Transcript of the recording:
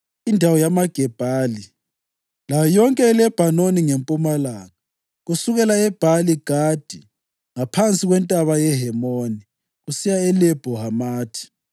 indawo yamaGebhali; layo yonke iLebhanoni ngempumalanga, kusukela eBhali-Gadi ngaphansi kweNtaba yeHemoni kusiya eLebho Hamathi.